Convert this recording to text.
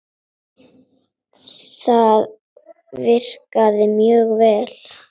Það virkar mjög vel.